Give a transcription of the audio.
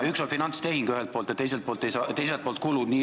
Ühelt poolt on finantstehing ja teiselt poolt kulud.